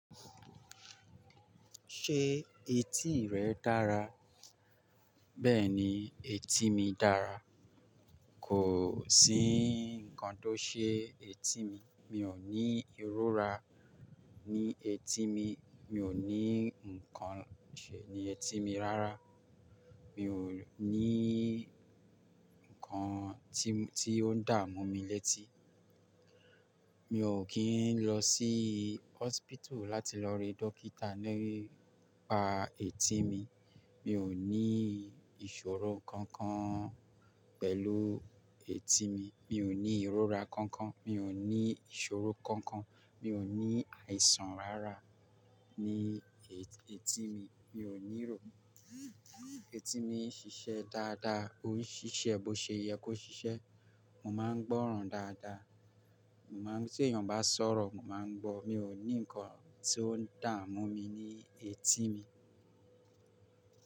Ṣé etí rẹ dára? Bẹ́ẹ̀ni etí mi dára. Kò sí nǹkan tó ṣe etí mi. Mi ò ní ìrora ní etí mi. Mi ò ní nǹkan ṣe ní etí mi rárá. Mi ò ní nǹkan tí ó ń dà mú mi létí. Mi ò kí ń lọ sí hospital láti lọ rí dókítà nípa etí mi. Mi ò ní ìṣòro kankan pẹ̀lú etí mi. Mi ò ní ìrora kankan. Mi ò ní ìṣòro kankan. Mi ò ní àìsàn rárá ní etí mi. Mi ò nírò. Etí mi ń ṣiṣẹ́ dáadáa. Ó ń ṣiṣẹ́ bó ṣe yẹ kó ṣiṣẹ́. Mo máa ń gbọ́ràn dáadáa. Mo máa ń tí èyàn bá sọ̀rọ̀, mo máa ń gbọ́. Mi ò ní nǹkan tí ó ń dà mú mi ní etí mi.